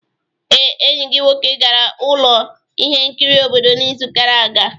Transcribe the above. Ee, enyi gị nwoke gara ụlọ ihe nkiri obodo n'izu gara aga.